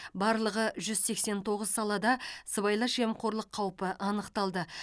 барлығы жүз сексен тоғыз салада сыбайлас жемқорлық қауіпі анықталды